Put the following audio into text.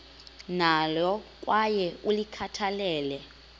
nalo kwaye ulikhathalele